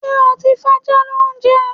Ṣé́ o ti fájá lóúnjẹ?